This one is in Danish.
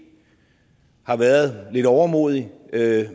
har været lidt overmodig med